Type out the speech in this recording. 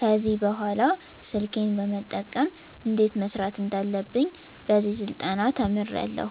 ከዚህ በኅላ ስልኬን በመጠቀም እንዴት መስራት እንዳለብኝ በዚህ ስልጠና ተምሬያለዉ